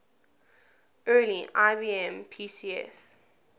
early ibm pcs